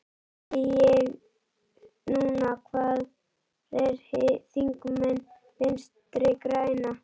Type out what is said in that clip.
Því spyr ég núna, hvar eru þingmenn Vinstri grænna?